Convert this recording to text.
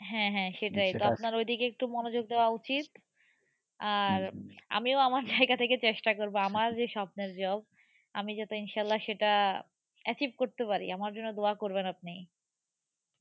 হ্যাঁ হ্যাঁ সেটাই আপনার ঐদিকে একটু মনোযোগ দেওয়া উচিত আর আমিও আমার জায়গা থেকে চেষ্টা করবো। আমার যে স্বপ্নের job আমি যাতে ইনশাআল্লা সেটা achieve করতে পারি আমার জন্য দোয়া করবেন আপনি।